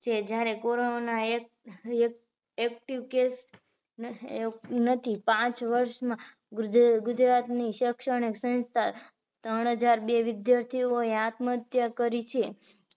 છે જયારે corona active case નથી પાંચ વર્ષ માં ગુજરાત ની શેક્ષણીક સંસ્થા ત્રણ હજાર વિદ્યાર્થી એ આત્મ હત્યા કરી છે